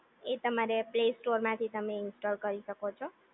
એ તમારે પ્લે સ્ટોરમાંથી તમે ઇન્સ્ટોલ કરી શકો છો